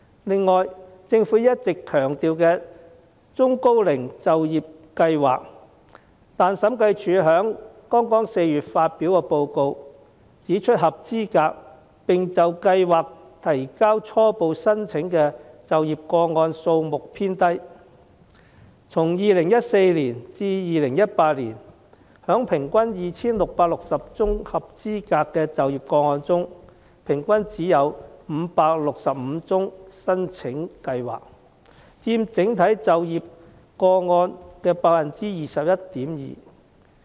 此外，政府一直強調有中高齡就業計劃，但審計署在剛於4月發表的報告指出，合資格並就計劃提交初步申請的就業個案數目偏低，於2014年至2018年間，在 2,660 宗合資格的就業個案中，平均只有565宗申請計劃，佔整體就業個案的 21.2%。